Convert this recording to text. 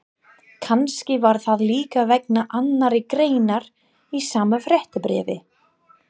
Kannski var það líka vegna annarrar greinar í sama fréttabréfi.